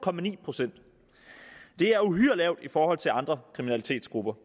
procent det er uhyre lavt i forhold til andre kriminalitetsgrupper